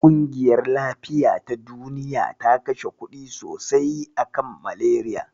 Ƙungiyar lafiya ta Duniya ta kashe kuɗi sosai a kan Malariya.